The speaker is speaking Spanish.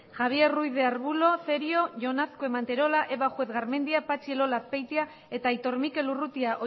javier ruiz de arbulo cerio jon azkue manterola eva juez garmendia patxi elola azpeitia eta aitor mikel urrutia